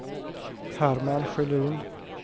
Herman Sjölin